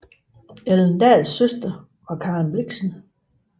Ellen Dahls søster var Karen Blixen